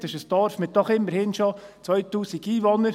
Das ist ein Dorf mit doch immerhin schon 2000 Einwohnern.